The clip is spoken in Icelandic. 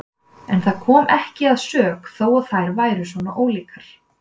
En það kom ekki að sök þó að þær væru svona ólíkar.